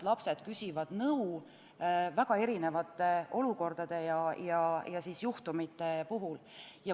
Lapsed küsivad nõu väga erinevate olukordade ja juhtumite puhul.